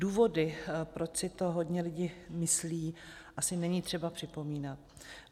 Důvody, proč si to hodně lidí myslí, asi není třeba připomínat.